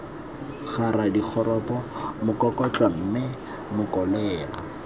kgara dikgopo mokokotlo mme mokolela